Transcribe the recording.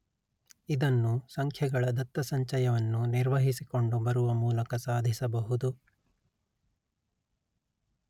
ಇದನ್ನು ಸಂಖ್ಯೆಗಳ ದತ್ತಸಂಚಯವನ್ನು ನಿರ್ವಹಿಸಿಕೊಂಡು ಬರುವ ಮೂಲಕ ಸಾಧಿಸಬಹುದು